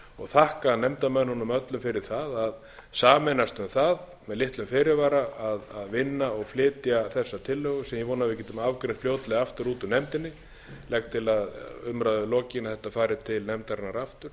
því og þakka nefndarmönnunum öllum fyrir það að sameinast um það með litlum fyrirvara að vinna og flytja þessa tillögu sem ég vona að við getum afgreitt fljótlega aftur út úr nefndinni legg til að umræðu lokinni að þetta fari til nefndarinnar aftur og við